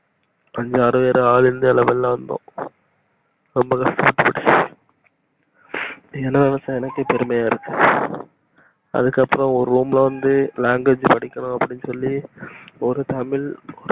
அஞ்சி ஆறு பேரு all india level ல வந்தோம் ரொம்பவே கஷ்டபட்டோம் என்ன நினைச்சா எனக்கே பெருமையா இருக்கு அதுக்கு அப்புறம் ஒரு room ல வந்து language படிக்கனு அப்டின்னு சொல்லி ஒரு தமிழ்